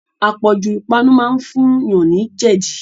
Apọ̀jù ipanu máa ń fún yàn ni jẹdi